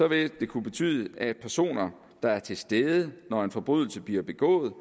vil det kunne betyde at personer der er til stede når en forbrydelse bliver begået